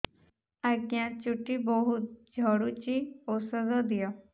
ଆଜ୍ଞା ଚୁଟି ବହୁତ୍ ଝଡୁଚି ଔଷଧ ଦିଅ